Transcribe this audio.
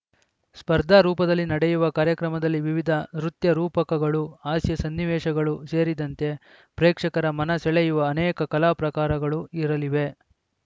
ಸ್ಪರ್ಧಾ ರೂಪದಲ್ಲಿ ನಡೆಯುವ ಕಾರ್ಯಕ್ರಮದಲ್ಲಿ ವಿವಿಧ ನೃತ್ಯರೂಪಕಗಳು ಹಾಸ್ಯ ಸನ್ನಿವೇಶಗಳು ಸೇರಿದಂತೆ ಪ್ರೇಕ್ಷಕರ ಮನ ಸೆಳೆಯುವ ಅನೇಕ ಕಲಾ ಪ್ರಕಾರಗಳು ಇರಲಿವೆ